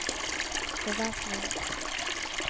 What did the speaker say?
bevæpning